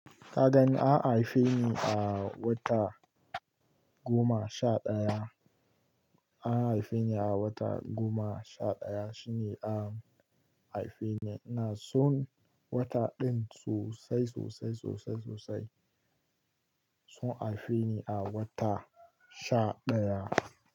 Kadan an haife ni a wata goma sha daya. An haife ni a wata goma sha daya, shine a haife ni. Ina son wata din sosai, sosai, sosai, sosai. Sun haife ni a wata sha daya.